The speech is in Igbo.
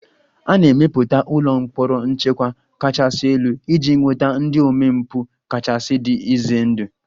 A na-emepụta ụlọ mkpọrọ nchekwa kachasị elu iji nweta ndị omempụ kachasị dị ize ndụ